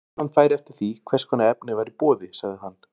Greiðslan færi eftir því, hvers konar efni væri í boði, sagði hann.